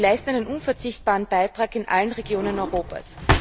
Sie leisten einen unverzichtbaren Beitrag in allen Regionen Europas.